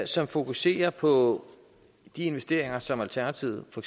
som fokuserer på de investeringer som alternativet for